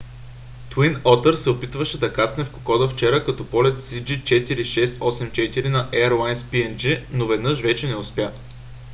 twin otter се опитваше да кацне в кокода вчера като полет cg4684 на airlines png но веднъж вече не успя